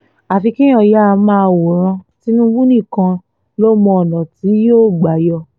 àfi kéèyàn yáa máa wòran tìǹbù nìkan ló mọ ọ̀nà tí yóò gbà yọ